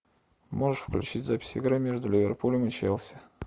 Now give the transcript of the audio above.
можешь включить запись игры между ливерпулем и челси